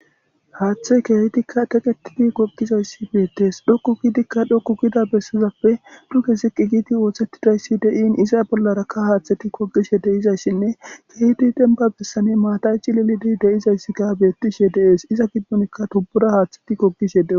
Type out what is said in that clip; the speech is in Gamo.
haaththe keehdikka qeqetidi gogizayssi beettees dhokku gidikka dhokku gida bessizappe duke ziqi giiti ooththettidayssi dein iza bollarakka haaththeti kogishe deizayssinne keehidi denba bessane maatayci lilidi deizayssi ga bettishe deees iza gibbonikka tubbura haaththeti kogishe deo